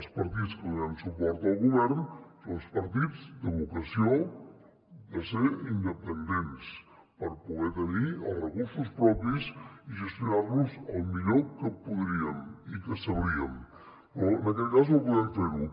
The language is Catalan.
els partits que donem suport al govern som els partits de vocació de ser independents per poder tenir els recursos propis i gestionar los el millor que podríem i que sabríem però en aquest cas no podem fer ho